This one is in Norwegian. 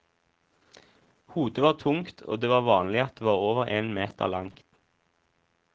Hodet var tungt, og det var vanlig at det var over en meter langt.